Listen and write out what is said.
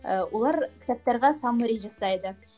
і олар кітаптарға саммари жасайды